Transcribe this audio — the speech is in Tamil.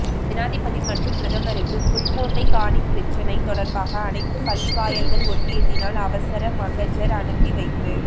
ஜனாதிபதி மற்றும் பிரதமருக்கு புல்மோட்டை காணி பிரச்சினை தொடர்பாக அனைத்து பள்ளிவாயல்கள் ஒன்றியத்தினால் அவசர மகஜர் அனுப்பி வைப்பு